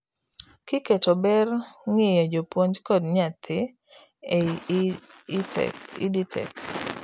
kiketo ber ng'iyo japuonj kod nyathi ei EdTech